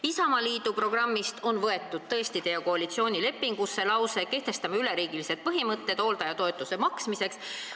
" Isamaa programmist on teie koalitsioonilepingusse võetud lause "Kehtestame üleriigilised põhimõtted hooldajatoetuse maksmiseks".